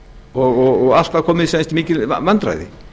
og alltaf komu upp mikil vandræði